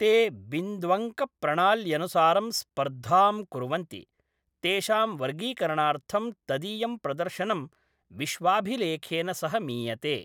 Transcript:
ते बिन्द्वङ्कप्रणाल्यनुसारं स्पर्धां कुर्वन्ति, तेषां वर्गीकरणार्थं तदीयं प्रदर्शनं विश्वाभिलेखेन सह मीयते।